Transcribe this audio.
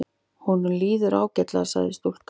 Honum líður ágætlega sagði stúlkan.